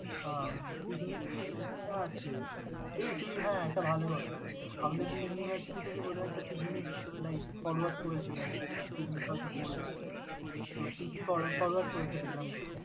উম picnic এর ইচ্ছা আছে। এই তুই হ্যাঁ একটা ভালো কথা আমাদের যে university থেকে বোধহয় একটা picnic like forward করেছে দেখবি পিকনিক হয়তো করবে। তোর তিথি for~ forward করেছে দেখলাম group এ।